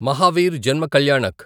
Mahavir Janma Kalyanak